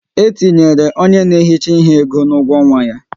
E tinyere onye na ehicha ihe ego n'ugwo ọnwa ya